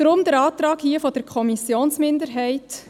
Deswegen der Antrag der Kommissionsminderheit.